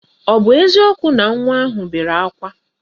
Ọ bụ eziokwu na nwa ahụ bere ákwá?